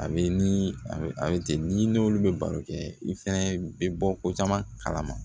A bɛ ni a bɛ a bɛ ten ni n'olu bɛ baro kɛ i fɛnɛ bɛ bɔ ko caman kalama